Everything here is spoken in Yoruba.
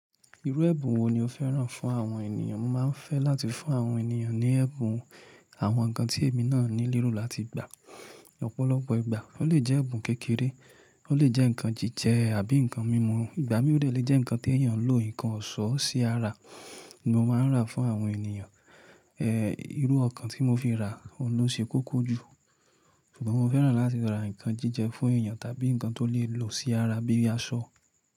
Irú ẹ̀bùn wo ni o fẹ́ràn fún àwọn ènìyàn? Mo máa ń fẹ́ láti fún àwọn ènìyàn ní ẹ̀bùn àwọn nǹkan tí èmi náà nílò láti gba ọ́pọ̀lọpọ̀ ìgbà. Ó lè jẹ́ ẹ̀bùn kékeré, ó lè jẹ́ nǹkan jíjẹ àbí nǹkan mímú. Ìgbà mí òdẹ̀ lè jẹ́ nǹkan tí èèyàn lò, nǹkan òṣòó sí ara ní mo máa ń rà fún àwọn ènìyàn. Irú okan tí mo fi rà ohun ló ṣe kókó jù. Ṣùgbọ́n mo fẹ́ràn láti ra nǹkan jíjẹ fún èèyàn tàbí nǹkan tó lè lò sí ara bíi aṣọ.